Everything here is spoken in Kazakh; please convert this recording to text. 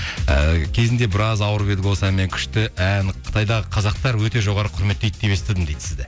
ііі кезінде біраз ауырып едік осы әнмен күшті ән қытайдағы қазақтар өте жоғары құрметтейді деп естідім дейді сізді